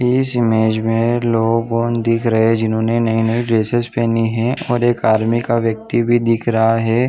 इस इमेज में लोगन दिख रहे है जिन्होंने नए -नए ड्रेसेस पहनी है और एक आर्मी का व्यक्ति भी दिख रहा है।